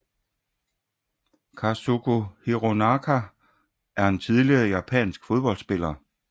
Kazuko Hironaka er en tidligere japansk fodboldspiller